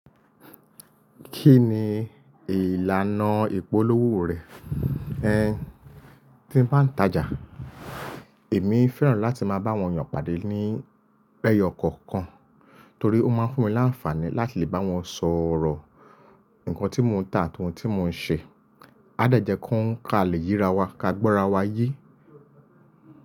Kí ni ìlànà ìpolówó rẹ̀? Tí ń bá ń tajà. Èmi fẹ́ràn láti máa bá àwọn èèyàn pàdé ní lẹ́yọ̀ kọ̀ọ̀kan torí ó máa ń fún mi láǹfààní láti lè bá wọn sọ̀rọ̀. Ǹkan tí mò ń tà àtún ohun tí mò ń ṣe. Á dàjẹ́ kó ń kà lè ye ra wa, ká gbọ́ra wa yí.